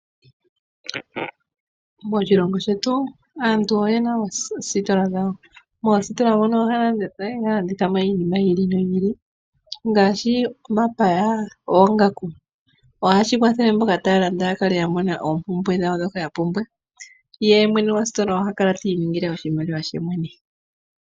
Moshilongo shetu aantu oye na oositola dhawo. Moositola mono ohaya landitha mo iinima yi ili noyi ili, ngaashi omapaya, oongaku. Ohashi kwathele mboka taya landa ya kale ya mona oompumbwe dhawo ndhoka ya pumbwa. Ye mwene go sitola oha kala ti iningile oshimaliwa she mwene.